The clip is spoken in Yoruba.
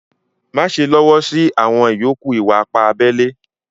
Máṣè lọ́wọ́ sí àwọn ìyọ̀kù ìwà-ìpà àbèlè.